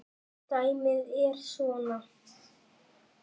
Dæmið er svona